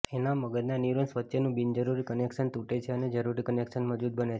એનાી મગજના ન્યુરોન્સ વચ્ચેનું બિનજરૂરી કનેક્શન તૂટે છે અને જરૂરી કનેક્શન મજબૂત બને છે